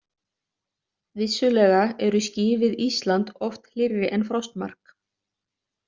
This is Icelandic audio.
Vissulega eru ský við Ísland oft hlýrri en frostmark.